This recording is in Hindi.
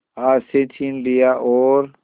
हाथ से छीन लिया और